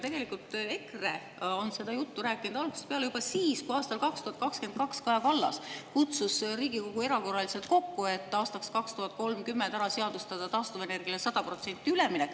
Tegelikult EKRE on seda juttu rääkinud algusest peale, juba siis, kui aastal 2022 Kaja Kallas kutsus Riigikogu erakorraliselt kokku, et aastaks 2030 ära seadustada taastuvenergiale 100% üleminek.